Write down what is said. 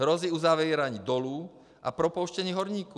Hrozí uzavírání dolů a propouštění horníků.